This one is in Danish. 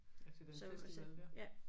Altså den festival dér